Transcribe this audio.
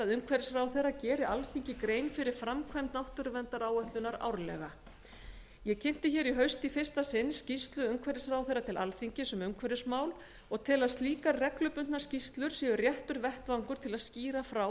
að umhverfisráðherra geri alþingi grein fyrir framkvæmd náttúruverndaráætlunar árlega ég flutti hér í haust í fyrsta sinn munnlega skýrslu umhverfisráðherra til alþingis um umhverfismál og tel að slíkar árlegar skýrslur séu réttur vettvangur til þess að skýra frá